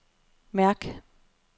mærk